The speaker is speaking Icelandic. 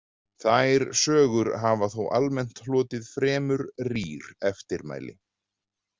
Þær sögur hafa þó almennt hlotið fremur rýr eftirmæli.